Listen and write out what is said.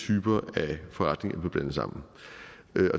typer af forretninger blev blandet sammen